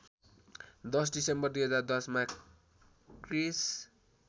१० December २०१० मा क्रिस्